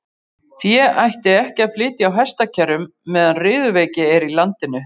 Fé ætti ekki að flytja á hestakerrum meðan riðuveiki er í landinu.